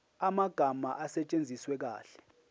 amagama asetshenziswe kahle